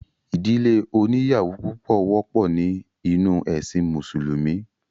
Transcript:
ìdílé oníyàwó púpọ̀ wọ́pọ̀ ní inú ẹ̀sìn mùsùlúmí